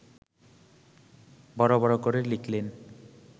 বড় বড় করে লিখলেন